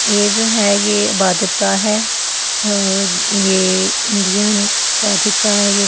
ये जो है ये इबादत गाह है अ ये इंडियन इबादत गाह है ये--